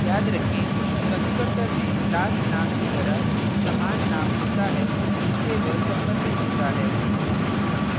याद रखें constructor में class name की तरह समान name होता है जिससे वह संबधित होता है